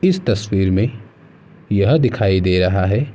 इस तस्वीर में यह दिखाई दे रहा है।